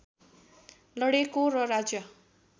लडेको र राज्य